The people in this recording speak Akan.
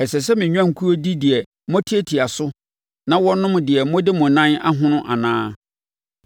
Ɛsɛ sɛ me nnwankuo di deɛ moatiatia so na wɔnom deɛ mode mo nan ahono anaa?